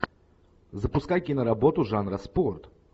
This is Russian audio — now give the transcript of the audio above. запускай киноработу жанра спорт